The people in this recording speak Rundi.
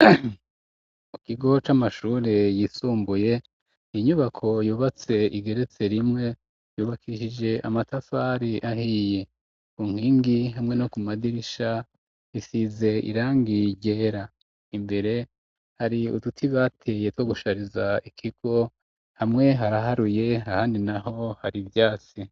Mu kigo c'amashuri yisumbuye inyubako yubatse igeretse rimwe yubakishije amatafari ahiye, ku nkingi hamwe no ku madirisha isize irangi ryera, imbere hari uduti bateye two gushariza ikigo, hamwe haraharuye ahandi naho hari ivyasi.